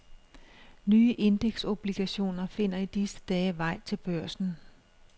Nye indeksobligationer finder i disse dage vej til børsen.